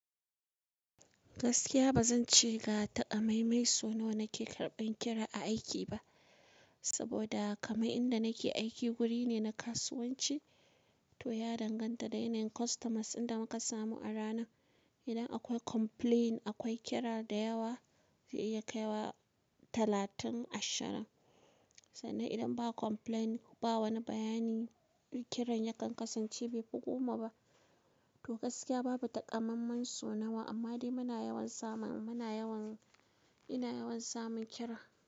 Gaskiya ba zan ce ga ta'a mai mai so nawa na ke karɓan kira a aiki ba, saboda kamar inda nake aiki wuri ne na kasuwanci. To ya danganta da yanayin kostomas inda muka samu a rana. Idan akwai complaint akwai kira da yawa zai iya kai wa talatin, ashirin. Sannan idan ba complaint ba wani bayani, kiran ya ƙanƙasance bai fi goma ba. To gaskiya babu takammamen so nawa, amma dai muna yawan samun, muna yawan, ina yawan samun kira.